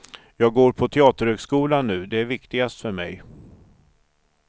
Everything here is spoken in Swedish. Jag går på teaterhögskolan nu, det är viktigast för mig.